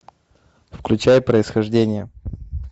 включай происхождение